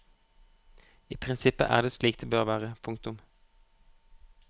I prinsippet er det slik det bør være. punktum